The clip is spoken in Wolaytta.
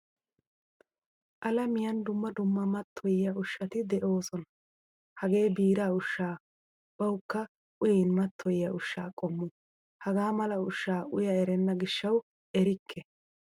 Alamiyan dumma dumma matoyiyaa ushshati deosona. Hagee biiraa ushsha bawukka uyin mattoyiya ushsha qommo. Hagaa mala ushshaa uya erena gishshawu erikke.